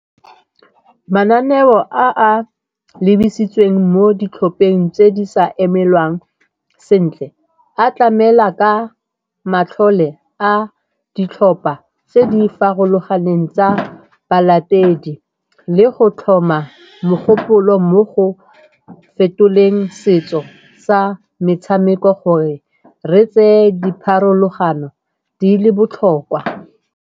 Mananeo a a lebisitsweng mo ditlhopheng tse di sa emelwang sentle a tlamela ka matlhole a ditlhopha tse di farologaneng tsa balatedi le go tlhoma mogopolo mo go fetoleng setso sa metshameko gore re tseye dipharologano di le botlhokwa.